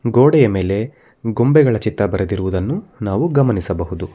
ಕೋಡೆಯ ಮೇಲೆ ಗೊಂಬೆಗಳ ಚಿತ್ರವನ್ನು ಬರೆದಿರುವುದನ್ನು ನಾವು ಗಮನಿಸಬಹುದು.